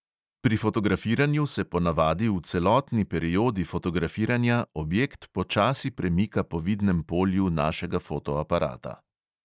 Pri fotografiranju se po navadi v celotni periodi fotografiranja objekt počasi premika po vidnem polju našega fotoaparata.